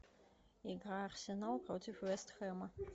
игра арсенал против вест хэма